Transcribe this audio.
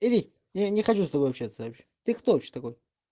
иди но я не хочу с тобой общаться вообще ты кто вообще такой